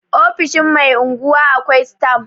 ofoshin Mai unguwa akwai stam